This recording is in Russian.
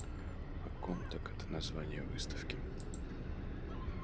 а комтек это название выставки